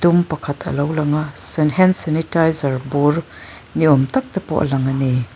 um pakhat alo lang a san-hen sanitaizar bur ni awm tak te pawh a lang a ni.